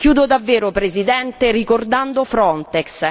Chiudo davvero, Presidente, ricordando Frontex.